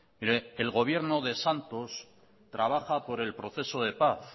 mire el gobierno de santos trabaja por el proceso de paz